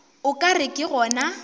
o ka re ke gona